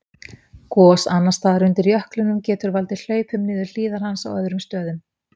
Gos annars staðar undir jöklinum geta valdið hlaupum niður hlíðar hans á öðrum stöðum.